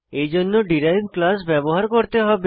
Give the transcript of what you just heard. এইজন্য derived class ব্যবহার করতে হবে